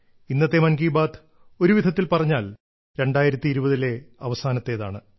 ഇന്നത്തെ മൻ കി ബാത്ത് ഒരുവിധത്തിൽ പറഞ്ഞാൽ 2020 ലെ അവസാനത്തേതാണ്